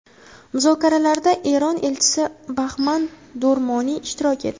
Muzokaralarda Eron elchisi Bahman Do‘rmoniy ishtirok etdi.